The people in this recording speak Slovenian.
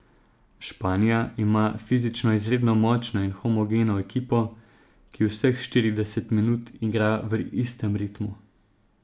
Španija ima fizično izredno močno in homogeno ekipo, ki vseh štirideset minut igra v istem ritmu.